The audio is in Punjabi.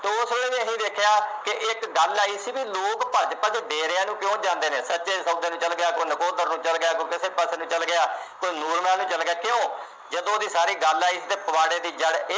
ਕਿਸੇ ਨੇ ਨਹੀਂ ਦੇਖਿਆ ਕਿ ਇੱਕ ਗੱਲ ਆਈ ਸੀ ਬਈ ਲੋਕ ਭੱਜ ਭੱਜ ਡੇਰਿਆਂ ਨੂੰ ਕਿਉਂ ਜਾਂਦੇ ਨੇ, ਸੱਚੇ ਸੌਦੇ ਨੂੰ ਚੱਲ ਗਿਆ, ਕੋਈ ਨਕੋਦਰ ਨੂੰ ਚੱਲ ਗਿਆ, ਕੋਈ ਕਿਸੇ ਪਾਸੇ ਨੂੰ ਚੱਲ ਗਿਆ, ਕੋਈ ਨੂਰਮਹਿਲ ਨੂੰ ਚੱਲ ਗਿਆ। ਕਿਉਂ. ਜਦੋਂ ਦੀ ਸਾਰੀ ਗੱਲ ਆਈ ਸੀ ਤਾਂ ਪਵਾੜੇ ਦੀ ਜੜ੍ਹ